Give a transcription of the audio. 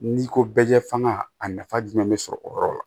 N'i ko bɛɛ ɲɛfa a nafa jumɛn bɛ sɔrɔ o yɔrɔ la